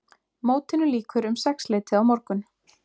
Mótinu lýkur um sexleytið á morgun